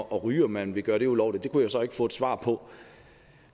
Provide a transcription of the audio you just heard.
at ryge om man ville gøre det ulovligt det kunne jeg så ikke få et svar på